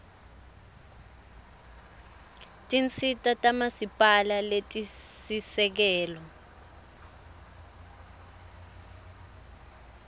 tinsita tamasipala letisisekelo